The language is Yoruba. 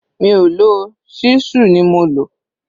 Mi ò lò ó, ṣísù ni mo lò